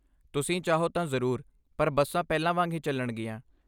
ਤੁਸੀਂ ਚਾਹੋ ਤਾਂ ਜ਼ਰੂਰ, ਪਰ ਬੱਸਾਂ ਪਹਿਲਾਂ ਵਾਂਗ ਹੀ ਚੱਲਣਗੀਆਂ।